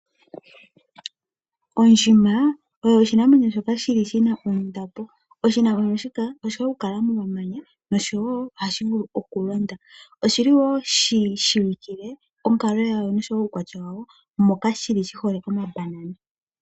Ondjima oyo oshinamwenyo shoka shili shina ondapo. Oshinamwenyo shika oshi hole okukala momamanya noshowo ohashi vulu okulonda. Oshili wo shitseyikile onkalo yasho moka shihole omambanana.